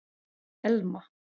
Elma